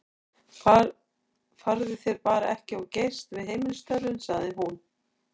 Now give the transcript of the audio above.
Farðu þér bara ekki of geyst við heimilisstörfin, sagði hún við